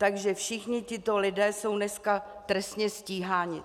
Takže všichni tito lidé jsou dneska trestně stíháni.